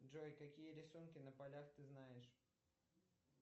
джой какие рисунки на полях ты знаешь